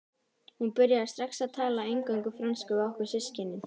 Hún byrjaði strax að tala eingöngu frönsku við okkur systkinin.